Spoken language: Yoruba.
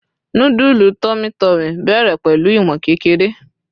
nudulu tummy tummy bẹrẹ pẹlu iwon kékeré